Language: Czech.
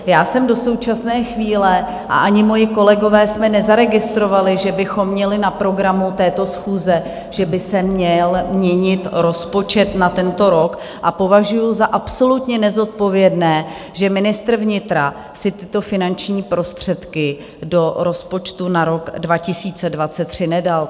Já jsem do současné chvíle a ani moji kolegové jsme nezaregistrovali, že bychom měli na programu této schůze, že by se měl měnit rozpočet na tento rok, a považuju za absolutně nezodpovědné, že ministr vnitra si tyto finanční prostředky do rozpočtu na rok 2023 nedal.